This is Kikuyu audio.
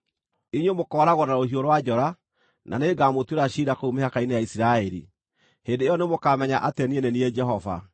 Inyuĩ mũkooragwo na rũhiũ rwa njora, na nĩngamũtuĩra ciira kũu mĩhaka-inĩ ya Isiraeli. Hĩndĩ ĩyo nĩmũkamenya atĩ niĩ nĩ niĩ Jehova.